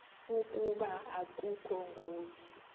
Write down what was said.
ukuba akukho ngozi